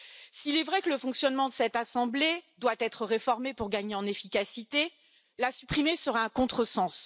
S'il est vrai que le fonctionnement de cette assemblée doit être réformé pour gagner en efficacité, la supprimer serait un contresens.